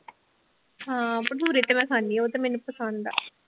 ਹਾਂ ਭਟੂਰੇ ਤੇ ਮੈਂ ਖਾਂਦੀ ਹਾਂ ਉਹ ਤੇ ਮੈਨੂੰ ਪਸੰਦ ਆ